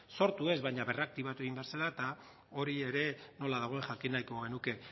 sortu ez baina berraktibatu egin behar zela eta hori ere nola dagoen jakin nahiko genuke